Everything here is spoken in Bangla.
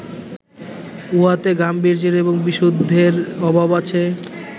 উহাতে গাম্ভীর্যের এবং বিশুদ্ধির অভাব আছে